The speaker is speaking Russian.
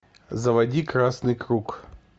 заводи красный круг